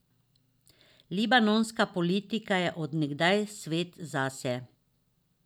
Libanonska politika je od nekdaj svet zase.